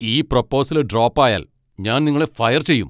ഈ proposal drop ആയാൽ ഞാൻ നിങ്ങളെ ഫയർ ചെയ്യും.